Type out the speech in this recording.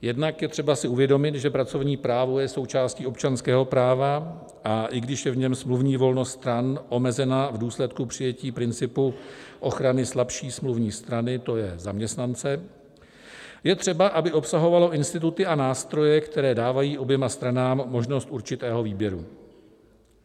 Jednak je třeba si uvědomit, že pracovní právo je součástí občanského práva, a i když je v něm smluvní volnost stran omezena v důsledku přijetí principu ochrany slabší smluvní strany, to je zaměstnance, je třeba, aby obsahovalo instituty a nástroje, které dávají oběma stranám možnost určitého výběru.